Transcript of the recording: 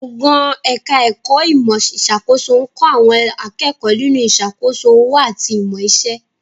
Gbọ̀ngàn ẹ̀ka ẹ̀kọ́ ìmọ̀ ìṣàkóso ń kọ́ àwọn akẹ́kọ̀ọ́ nínú ìṣàkóso òwò àti ìmọ̀ iṣẹ́